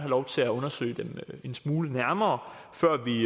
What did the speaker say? lov til at undersøge dem en smule nærmere før vi